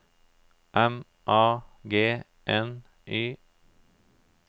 M A G N Y